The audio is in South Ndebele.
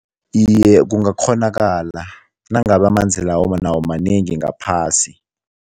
Iye, kungakghonakala nangabe amanzi lawo nawo manengi ngaphasi.